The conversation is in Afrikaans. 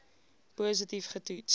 positief ge toets